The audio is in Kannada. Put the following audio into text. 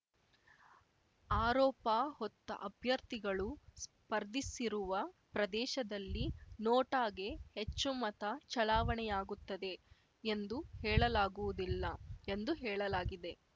ಆರೋಪ ಹೊತ್ತ ಅಭ್ಯರ್ಥಿಗಳು ಸ್ಪರ್ಧಿಸಿರುವ ಪ್ರದೇಶದಲ್ಲಿ ನೋಟಾಗೇ ಹೆಚ್ಚು ಮತ ಚಲಾವಣೆಯಾಗುತ್ತದೆ ಎಂದು ಹೇಳಲಾಗುವುದಿಲ್ಲ ಎಂದು ಹೇಳಲಾಗಿದೆ